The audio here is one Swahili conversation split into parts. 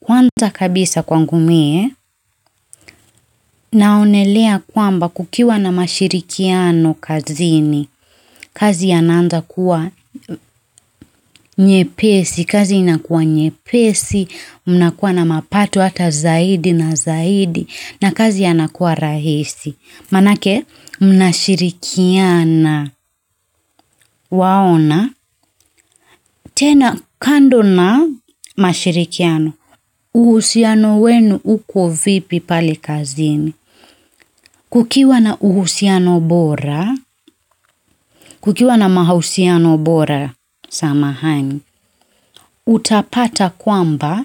Kwanza kabisa kwangu mie, naonelea kwamba kukiwa na mashirikiano kazini, kazi inaanza kuwa, kazi inakuwa nyepesi, mnakuwa na mapato hata zaidi na zaidi, na kazi inakuwa rahisi. Manake, mnashirikiana, waona, tena kando na mashirikiano, uhusiano wenu uko vipi pale kazini, kukiwa na uhusiano bora, kukiwa na mahusiano bora, samahani, utapata kwamba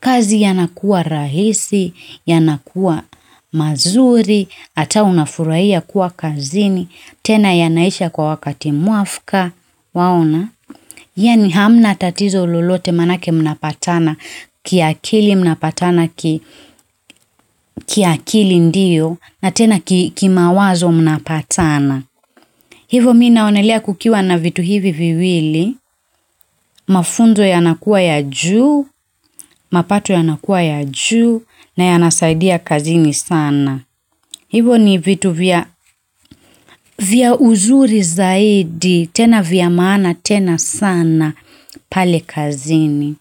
kazi yanakuwa rahisi, yanakuwa mazuri, hata unafurahia kuwa kazini, tena yanaisha kwa wakati mwafuka waona yaani hamna tatizo lolote manake mnapatana kiakili mnapatana kiakili ndiyo na tena kimawazo mnapatana hivo mimi naonelea kukiwa na vitu hivi viwili mafunzo yanakuwa ya juu, mapato yanakuwa ya juu, na yanasaidia kazini sana hivo ni vitu vya uzuri zaidi tena vya maana, tena sana, pale kazini.